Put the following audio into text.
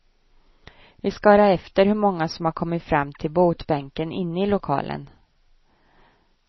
Vi ska höra efter hur många som har kommit fram till botbänken inne i lokalen.